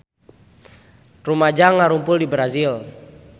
Rumaja ngarumpul di Brazil